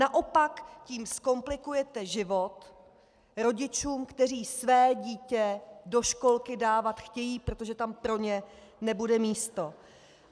Naopak tím zkomplikujete život rodičům, kteří své dítě do školky dávat chtějí, protože tam pro ně nebude místo.